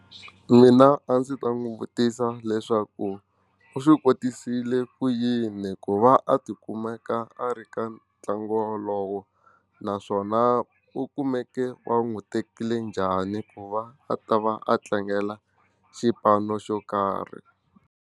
Mina a ndzi ta n'wi vutisa leswaku u swi kotisile ku yini ku va a ti kumeka a ri ka ntlangu wolowo naswona u kumeke wa n'wi tekile njhani ku va a ta va a tlangela xipano xo karhi.